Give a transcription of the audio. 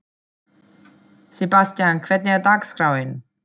Sebastian, hvernig er dagskráin?